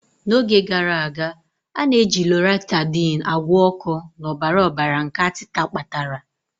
N'oge gara aga, a na-eji Loratadine agwọ oko na ọbara ọbara nke atita kpatara.